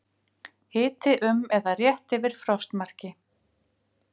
Hiti um eða rétt yfir frostmarki